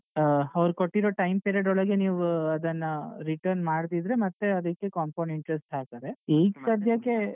ಅವ್ರು ಕೊಟ್ಟಿರೊ time period ಒಳಗೆ ನೀವೂ ಅದನ್ನ return ಮಾಡದಿದ್ರೆ ಮತ್ತೆ ಅದಕ್ಕೆ compound interest ಹಾಕ್ತಾರೆ ಈಗ್ ಸದ್ಯಕ್ಕೆ.